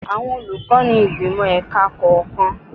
Àwọn olùkọ́ ni ìgbìmò ẹ̀ka kọ̀ọ̀kan.